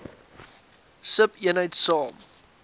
sub eenheid saam